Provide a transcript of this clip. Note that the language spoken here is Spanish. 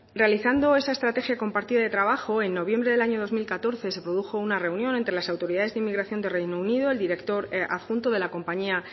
realizando esa estrategia compartida de trabajo en noviembre de dos mil catorce se produjo una reunión entre las autoridades de inmigración de reino unido el director adjunto de la compañía